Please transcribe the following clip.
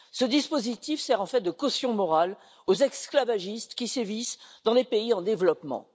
Ce dispositif sert en fait de caution morale aux esclavagistes qui sévissent dans les pays en développement.